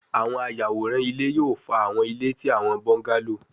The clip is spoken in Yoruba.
Awọn ayaworan ile yoo fa awọn ile ti awọn bungalow